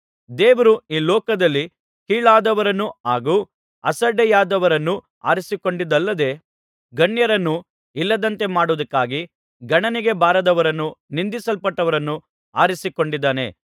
ದೇವರು ಈ ಲೋಕದಲ್ಲಿ ಕೀಳಾದವರನ್ನೂ ಹಾಗೂ ಅಸಡ್ಡೆಯಾದವರನ್ನೂ ಆರಿಸಿಕೊಂಡದ್ದಲ್ಲದೆ ಗಣ್ಯರನ್ನು ಇಲ್ಲದಂತೆ ಮಾಡುವುದಕ್ಕಾಗಿ ಗಣನೆಗೆ ಬಾರದವರನ್ನು ನಿಂದಿಸಲ್ಪಟ್ಟವರನ್ನು ಆರಿಸಿಕೊಂಡಿದ್ದಾನೆ